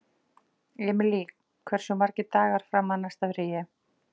Emilý, hversu margir dagar fram að næsta fríi?